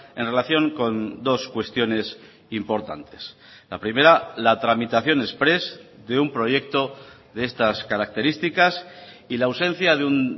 en relación con dos cuestiones importantes la primera la tramitación exprés de un proyecto de estas características y la ausencia de un